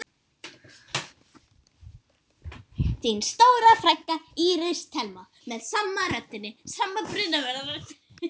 Þín stóra frænka, Íris Thelma.